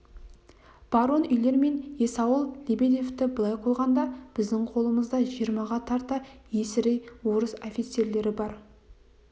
барон уйлер мен есауыл лебедевті былай қойғанда біздің қолымызда жиырмаға тарта есірей орыс офицерлері бар